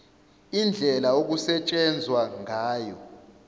indlela okusetshenzwa ngayo